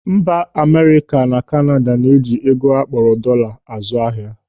Mba Amerịka na Kanada na-eji ego akpọrọ dọọla azụ ahịa.